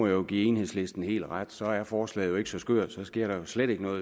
jo give enhedslisten helt ret så er forslaget ikke så skørt og så sker der jo slet ikke noget